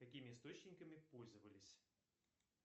какими источниками пользовались